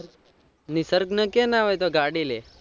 નિસર્ગ ને કેહ ન હવે તો ગાડી લે.